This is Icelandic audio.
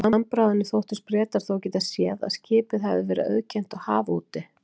Af handbragðinu þóttust Bretar þó geta séð, að skipið hefði verið auðkennt á hafi úti.